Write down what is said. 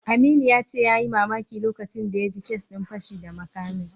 Aminu ya ce yayi mamaki lokacin da ya ji kes din fashi da makamin.